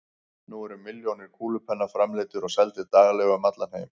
Nú eru milljónir kúlupenna framleiddir og seldir daglega um allan heim.